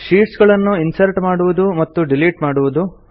sheets ಗಳನ್ನು insert ಮಾಡುವುದು ಮತ್ತು ಡಿಲೀಟ್ ಮಾಡುವುದು